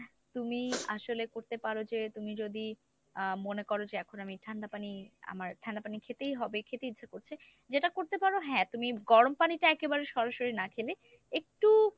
তুমি আসলে করতে পারো যে, তুমি যদি আহ মনে কর যে এখন আমার ঠান্ডা পানি আমার ঠান্ডা পানি খেতেই হবে খেতে ইচ্ছে করছে, যেটা করতে পারো হ্যাঁ তুমি গরম পানিটা একেবারে সরাসরি না খেলে একটু